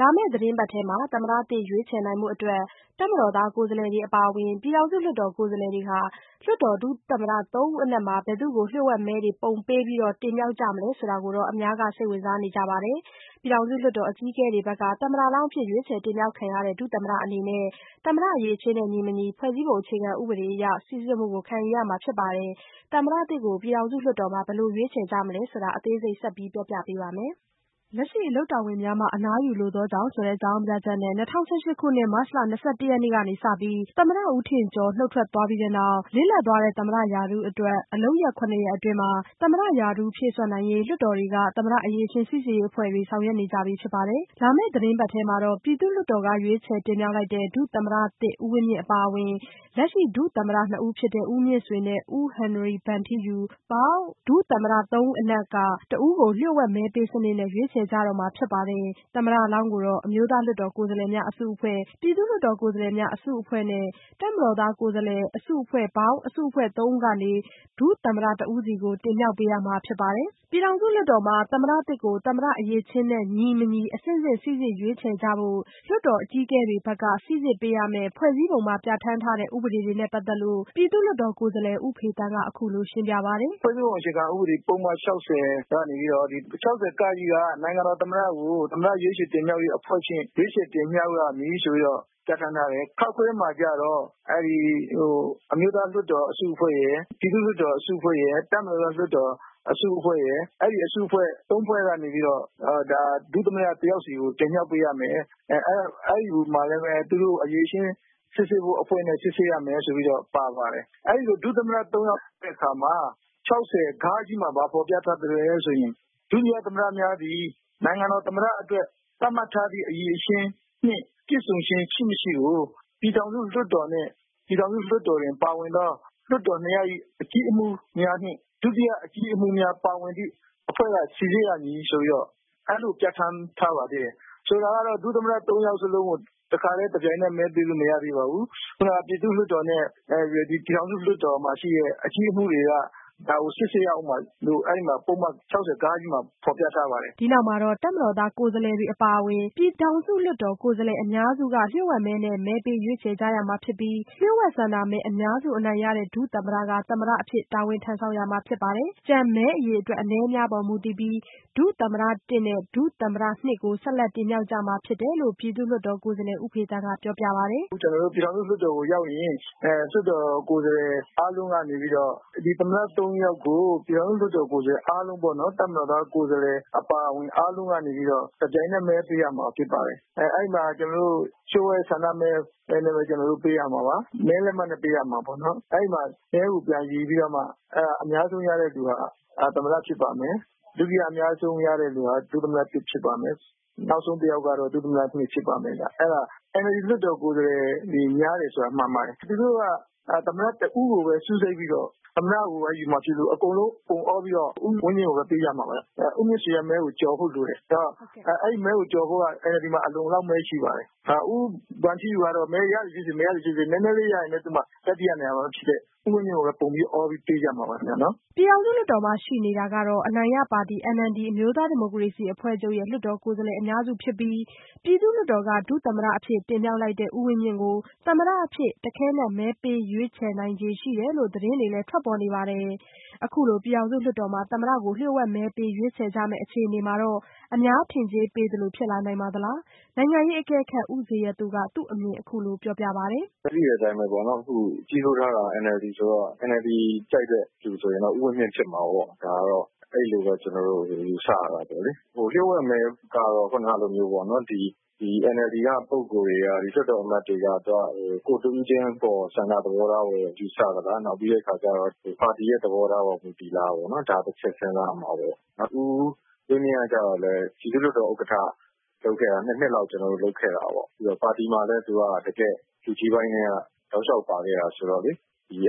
လာမယ့်သီတင်းပတ်ထဲ သမ္မတသစ်ရွေးချယ်နိုင်ဖို့ တပ်မတော်သား ကိုယ်စားလှယ်တွေ အပါအဝင် ပြည်ထောင်စု လွှတ်တော်ကိုယ်စားလှယ်တွေက လွှတ်တော်ဒုသမ္မတ သုံးဦးအနက် ဘယ်သူ့ကို လျှို့ဝှက်မဲတွေပုံပေးပြီး တင်မြှောက်ကြမလဲဆိုတာကိုတော့ အများကစိတ်ဝင်စားနေကြပါတယ်။ ပြည်ထောင်စု လွှတ်တော်အကြီးအကဲတွေဘက်က သမ္မတလောင်းအဖြစ် ရွေးချယ်တင်မြှောက်ခံရတဲ့ ဒုသမ္မတအနေနဲ့ သမ္မတ အရည်အချင်းနဲ့ ညီမညီ ဖွဲ့စည်းပုံအခြေခံဥပဒေအရ စိစစ်မှုကို ခံယူရမှာဖြစ်ပါတယ်။ သမ္မတသစ်ကို ပြည်ထောင်စု လွှတ်တော်မှာ ဘယ်လိုရွေးချယ်ကြမလဲဆိုတာ မဆုမွန်က အသေးစိတ် ဆက်ပြောပြပါမယ်။ လက်ရှိအလုပ်တာဝန်များမှ အနားယူလိုသောကြာင့်ဆိုတဲ့ အကြောင်းပြချက်နဲ့ ၂၀၁၈ခုနှစ် မတ်လ ၂၁ရက်နေ့ကစပြီး သမ္မတဦးထင်ကျော် နုတ်ထွက်ပြီးနောက် လစ်လပ်သွားတဲ့ သမ္မတရာထူးအတွက် အလုပ်ရက်ခုနှစ်ရက်အတွင်း သမ္မတရာထူးဖြည့်စွက်နိုင်ရေး လွှတ်တော်တွေက သမ္မတ အရည်အချင်းစိစစ်ရေးအဖွဲ့တွေ ဆောင်ရွက်နေကြပြီဖြစ်ပါတယ်။ လာမယ့်သီတင်းပတ်ထဲမှာတော့ ပြည်သူ့လွှတ်တော်က ရွေးချယ်တင်မြှောက်လိုက်တဲ့ ဒုသမ္မတသစ်ဦးဝင်းမြင့်အပါအဝင် လက်ရှိဒုသမ္မတနှစ်ဦးဖြစ်တဲ့ ဦးမြင့်ဆွေနဲ့ ဦးဟင်နရီဗန်ထူးယူ- ပေါင်း ဒုသမ္မတသုံးဦးအနက်က တဦးကို လျှို့ဝှက်မဲပေးစနစ်နဲ့ ရွေးချယ်ကြတော့မှာဖြစ်ပါတယ်။ သမ္မတလောင်းကို အမျိုးသားလွှတ်တော်ကိုယ်စားလှယ်များ အစုအဖွဲ့၊ ပြည်သူ့လွှတ်တော်ကိုယ်စားလှယ်များအစုအဖွဲ့နဲ့ တပ်မတော်သားကိုယ်စားလှယ်အစုအဖွဲ့ - ပေါင်းအစုအဖွဲ့(၃)ဦးကနေ ဒုသမ္မတတဦးစီကို တင်မြှောက်ပေးရမှာဖြစ်ပါတယ်။ ပြည်ထောင်စုလွှတ်တော်မှာ သမ္မတသစ်ကို သမ္မတအရည်အချင်းနဲ့ညီ-မညီအဆင့်ဆင့်စိစစ် ရွေးချယ်ကြဖို့ နဲ့ လွှတ်တော် အကြီးအကဲတွေဘက်က စိစစ်ပေးရမယ့် ဖွဲ့စည်းပုံမှာ ပြဋ္ဌာန်းထားတဲ့ဥပဒေတွေနဲ့ပတ်သက်လို့ ပြည်သူ့လွှတ်တော်ကိုယ်စားလှယ် ဦးဖေသန်းက အခုလိုရှင်းပြပါတယ်။ "ဖွဲ့စည်းပုံအခြေခံဥပဒေ ၆၀မှာ ပုဒ်မ ၆၀ (က)က နိုင်ငံတော်သမ္မတကို သမ္မတရွေးချယ်ရေးတင်မြှောက်ရေးအဖွဲ့ဖြင့် ရွေးချယ်တင်မြှောက်ရမည်ဆိုပြီးတော့ ပြဋ္ဌာန်းထားတယ်။ (ခ) မှာကျတော့ အမျိုးသားလွှတ်တော်အစုအဖွဲ့ရယ်၊ ပြည်သူ့လွှတ်တော်အစုအဖွဲ့ရယ် တပ်မတော်သားလွှတ်တော်အစုအဖွဲ့ရယ် အဲ့အစုအဖွဲ့(၃)ဖွဲ့ကနေပြီးတော့ ဒုသမ္မတတယောက်စီကို တင်မြှောက်ပေးရမယ်။ အဲ့ဒီ့မှာလည်းပဲ သူတို့ကို အရည်အချင်းစစ်ဆေးရေးအဖွဲ့နဲ့စစ်ဆေးရမယ်ဆိုပြီးတော့ ပါပါတယ်။ အဲ့ဒီ့လို ဒုသမ္မတသုံးဦးမှာ ၆၀ (ဃ) မှာ ဘာဖော်ပြထားလဲဆိုတော့ ဒုတိယသမ္မတများသည် နိုင်ငံတော်သမ္မတအတွက် ချမှတ်ထားသည့်အရည်အချင်းနှင့်ပြည့်စုံခြင်း ရှိ-မရှိကို ပြည်ထောင်စုလွှတ်တော်နှင့် ပြည်ထောင်စုလွှတ်တော်တွင်ပါဝင်သော လွှတ်တော်နှစ်ရပ်၏ အကြီးအမှူးများနှင့် ဒုတိယအကြီးအမှူးများပါဝင်သည့် အဖွဲ့က စိစစ်ရမည်ဆိုပြီးတော့ အဲ့လိုပြဋ္ဌာန်းထားပေးသေးတယ်။ ဆိုလိုတာကတော့ ဒုသမ္မတသုံးဦးစလုံးကို တခါတည်း တပြိုင်နက်တည်း မဲပေးလို့မရသေးပါဘူး။ ခုနက ပြည်သူ့လွှတ်တော်နဲ့ ပြည်ထောင်စုလွှတ်တော်မှာရှိတဲ့အကြီးအမှူးတွေကို ဒါကို စစ်ဆေးရဦးမှာလို့ပုဒ်မ ၆၀ (ဃ) မှာ ဖော်ပြထားပါတယ်။" ဒီ့နောက်မှာတော့ တပ်မတော်သားကိုယ်စားလှယ်တွေအပါအဝင် ပြည်ထောင်စုလွှတ်တော်ကိုယ်စားလှယ်အများစုက လျှို့ဝှက်မဲနဲ့ မဲပေးရွေးချယ်ရမှာဖြစ်ပြီး လျှို့ဝှက်ဆန္ဒမဲအများစုအနိုင်ရတဲ့ဒုသမ္မတက သမ္မတအဖြစ် တာဝန်ထမ်းဆောင်ရမှာဖြစ်ပြီး- ကျန်မဲအရေအတွက် အနည်းအများပေါ်မူတည်ပြီး ဒုသမ္မတ(၁) နဲ့ ဒုသမ္မတ(၂)ကို ဆက်လက်တင်မြှောက်ကြမှာဖြစ်တယ်လို့ ဦးဖေသန်းက ပြောပြပါတယ်။ " ကျနော်တို့ ပြည်ထောင်စုလွှတ်တော်ကို ရောက်လာလို့ရှိရင် ပြည်ထောင်စုလွှတ်တော်ကိုယ်စားလှယ်အားလုံးကနေပြီးတော့ ဒုသမ္မတသုံးဦးကို တပ်မတော်သားကိုယ်စားလှယ်တွေအပါအဝင် ပြည်ထောင်စုလွှတ်တော်ကိုယ်စားလှယ်အားလုံးက တပြိုင်နက်တည်း မဲပေးရမှာဖြစ်ပါတယ်။ အဲ့ဒီ့မှာ လျျို့ှဝှက်ဆန္ဒမဲနဲ့ပဲ ကျနော်တို့ မဲပေးရမှာ။ မဲလက်မှတ်နဲ့ပေးပြီး မဲအရေအတွက်ကို ပြန်ရေတွက်ပြီးတော့အများဆုံးရတဲ့သူက သမ္မတဖြစ်ပါတယ်။ ဒုတိယအအများဆုံးရတဲ့သူက ဒုသမ္မတ(၁) ဖြစ်ပြီးနောက်ဆုံးတယောက်ကတော့ ဒုသမ္မတ(၂) ဖြစ်ပါမယ်။ ပြည်ထောင်စုလွှတ်တော်မှာ NLD လွှတ်တော်ကိုယ်စားလှယ်တွေ အများစုဖြစ်တယ်ဆိုတာမှန်ပါတယ်။ သူတို့အားလုံးက သမ္မတတဦးတည်းကိုပဲ စူးစိုက်ပြီးတော့ သမ္မတတဦးတည်းကိုပဲ ယူမှာဖြစ်လို့ အကုန်လုံးပုံအောပြီးတော့ ဦးဝင်းမြင့်ကိုပဲ ပေးကြမှာပါခင်ဗျ။ ဦးမြင့်ဆွေ မဲကိုတော့ ကျော်ဖို့လိုတယ်။ အဲ့ဒီ့မဲကို ကျော်ဖို့ကလည်း NLD မှာ မဲအလုံအလောက်ရှိပါတယ်။ ဦးဗန်ထီးယူကတော့ မဲရသည်ဖြစ်စေ မရသည်ဖြစ်စေနည်းနည်းလေးရရင်တောင် တတိယနေရာအတွက်ပဲဆိုတော့ ဦးဝင်းမြင့်ကိုပဲ မဲပုံအောပြီး ပေးကြမှာပါ။" ပြည်ထောင်စုလွှတ်တော်မှာ ရှိတဲ့အနိုင်ရပါတီNLD အမျိုးသားဒီမိုကရေစီအဖွဲ့ချုပ်ပါတီရဲ့ လွှတ်တော်ကိုယ်စားလှယ်အများစုကတော့ ပြည်သူ့လွှတ်တော်က ဒုသမ္မတအဖြစ် တင်မြှောက်လိုက်တဲ့ဦးဝင်းမြင့်ကို သမ္မတအဖြစ် တခဲနက် မဲပေးရွေးချယ်နိုင်ခြေရှိတယ်လို့ သတင်းတွေထွက်ပေါ်နေပါတယ်။ အခုလို ပြည်ထောင်စုလွှတ်တော်မှာ သမ္မတကို လျှို့ဝှက်မဲပေးရွေးချယ်ကြမယ့်အခြေအနေမှာ အများထင်ကြေးပေးသလို ဖြစ်လာနိုင်ပါသလား- နိုင်ငံရေးအကဲခတ်ဦးဇေယျသူက သူ့အမြင်အခုလိုပြောပြပါတယ်။ "သိတဲ့အတိုင်းပဲလေ လွှတ်တော်မှာ ကြီးစိုးတာက NLD ဆိုတော့ NLD ကြိုက်တဲ့သူဆိုရင်တော့ ဦးဝင်းမြင့်ဖြစ်မှာပေါ့။ ဒါကတော့ အဲ့လိုပဲ ကျနော်တို့ ယူဆရတာပေါ့။ လျို့ဝှက်မဲအရဆိုရင်တော့ NLD က ပုဂ္ဂိုလ်တွေက လွှတ်တော်အမတ်တွေက ကိုယ့်တဦးတည်းချင်းရဲ့ ဆန္ဒသဘောထားကိုပဲ ယူဆရမလား။ နောက်ပြီးတော့ ပါတီရဲ့သဘောထားကိုပဲ မူတည်သလားပေါ့။ ဒါ တချက်စဉ်းစားရမှာပေါ့။ ဦးဝင်းမြင့်ကျတော့လည်း ပြည်သူ့လွှတ်တော်ဥက္ကဋ္ဌ နှစ်နှစ်လောက်လုပ်ခဲ့တယ်။ ပါတီမှာလည်းပဲ တကယ့်လူကြီးပိုင်းထဲက တောက်လျောက်ပါခဲ့တာဆိုတော့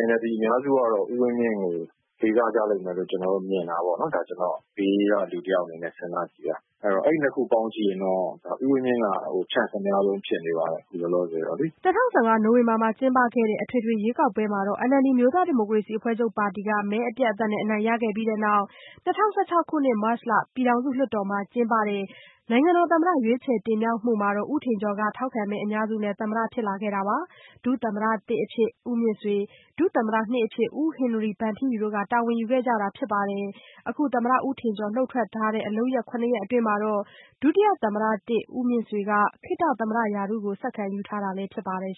NLD အများစုကတော့ ဦးဝင်းမြင့်ကို လေးစားကြလိမ့်မယ်လို့ကျနော်မြင်တယ်။ ကျနော်ကတော့ ဘေးကလူတယောက်အနေနဲ့စဉ်းစားကြည့်တာ အဲ့တော့ အဲ့နှစ်ခု ပေါင်းကြည့်ရင်တော့ ဦးဝင်းမြင့်က Chance အများဆုံးဖြစ်နေပါတယ် လောလောဆယ်တော့လေ။" ၂၀၁၅ နိုဝင်ဘာမှာကျင်းပတဲ့ အထွေထွေရွေးကောက်ပွဲမှာ NLD အမျိုးသားဒီမိုကရေစီအဖွဲ့ချုပ်ပါတီ မဲအပြတ်အသတ်နဲ့ အနိုင်ရခဲ့ပြီးတဲ့နောက်မှာတော့ ၂၀၁၆ခုနှစ် မတ်လ ပြည်ထောင်စုလွှတ်တော်မှာ ကျင်းပတဲ့ နိုင်ငံတော်သမ္မတရွေးချယ်တင်မြှောက်မှုမှာတော့ ဦးထင်ကျော်က ထောက်ခံမဲအများစုနဲ့သမ္မတဖြစ်လာခဲ့တာဖြစ်ပြီး ဒုတိယသမ္မတ(၁)အဖြစ် ဦးမြင့်ဆွေ၊ ဒုတိယသမ္မတ(၂)အဖြစ် ဦးဟင်နရီဗန်ထီးယူက တာဝန်ယူခဲ့ကြတာဖြစ်ပါတယ်။ အခုသမ္မတဦးထင်ကျော်နုတ်ထွက်ထားတဲ့အလုပ်ရက်(၇)ရက်အတွင်းမှာတော့ ဒုသမ္မတ၁ ဦးမြင့်ဆွေက ခေတ္တသမ္မတရာထူးကို ဆက်ခံယူထားတာဖြစ်ပါတယ်